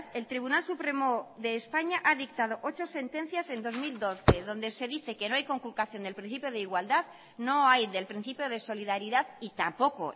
el tribunal supremo de españa ha dictado ocho sentencias en dos mil doce donde se dice que no hay conculcación del principio de igualdad no hay del principio de solidaridad y tampoco